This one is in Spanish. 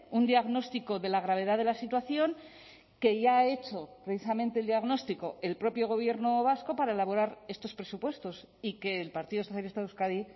un diagnóstico de la gravedad de la situación que ya ha hecho precisamente el diagnóstico el propio gobierno vasco para elaborar estos presupuestos y que el partido socialista de euskadi